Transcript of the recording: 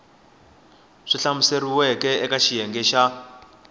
swi hlamuseriweke eka xiyenge xa